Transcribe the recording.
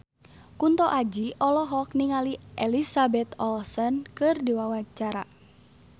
Kunto Aji olohok ningali Elizabeth Olsen keur diwawancara